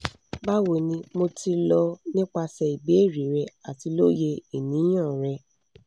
bawoni mo ti lọ nipasẹ ibeere rẹ ati loye iniyan re